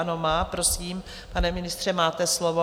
Ano, má. Prosím, pane ministře, máte slovo.